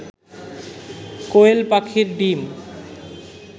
কোয়েল পাখির ডিম